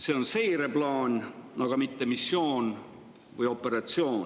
See on seireplaan, aga mitte missioon või operatsioon.